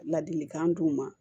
Ladilikan d'u ma